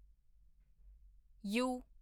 you